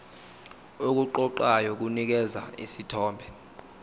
okuqoqayo kunikeza isithombe